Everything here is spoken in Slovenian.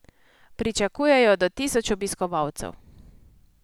Pričakujejo do tisoč obiskovalcev.